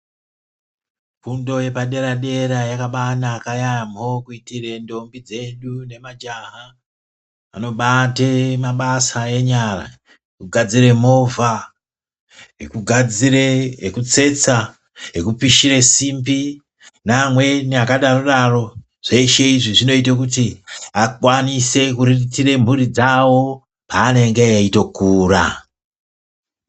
Fundo yepaderadera yakaba yanaka yaamho kuitire ndombi dzeduu nemajaha anobate mabasa enyara ekugadzire movha, ekugudzire ,ekutsetsa ekupishire simbi neamweni akadarodaro zveshe izvi zvinoite kuti akwanise kuriritire mhuri dzawo paanenge eitokura.